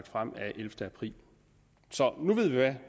frem af ellevte april så nu ved vi hvad